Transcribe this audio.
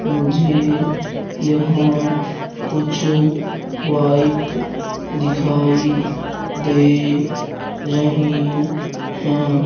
मुझे यहां कुछ बाइक दिखाई दे रही है।